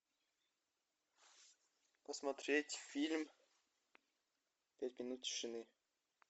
посмотреть фильм пять минут тишины